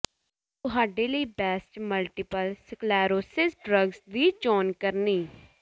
ਤੁਹਾਡੇ ਲਈ best multiple sclerosis drugs ਦੀ ਚੋਣ ਕਰਨੀ